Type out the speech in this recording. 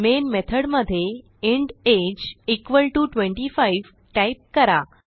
main method मध्ये int age is equal to 25 type करा